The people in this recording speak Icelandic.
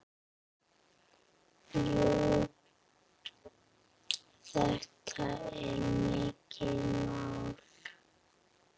Jú, þetta er mikið mál.